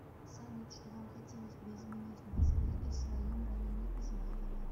салют что вам хотелось бы изменить в москве и в своем районе измайлово